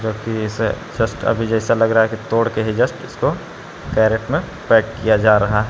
की इसे जस्ट अभी जैसा लग रहा है कि तोड़ के ही जस्ट इसको कैरेट में पैक किया जा रहा है।